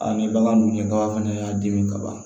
A ni bagan dun ye bagan fɛnɛ y'a dimi kaban